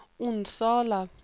Onsala